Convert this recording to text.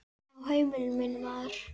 Á heimili mínu, maður.